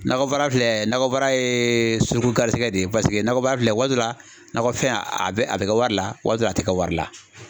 Nakɔ baara filɛ nakɔ baara ye suruku garisigɛ de ye paseke nakɔbaara filɛ waati dɔ la nakɔfɛn a bɛ a bɛ kɛ wari la waati dɔ la a tɛ kɛ wari la.